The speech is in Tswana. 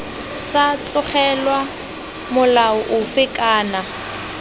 sa tlogelwa molao ofe kana